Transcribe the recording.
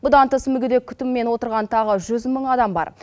бұдан бөлек мүгедек күтімімен отырған тағы жүз мың адам бар